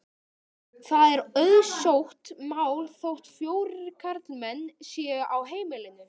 Það er auðsótt mál þótt fjórir karlmenn séu á heimilinu.